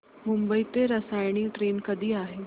मुंबई ते रसायनी ट्रेन कधी आहे